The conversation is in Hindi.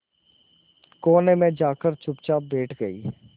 कोने में जाकर चुपचाप बैठ गई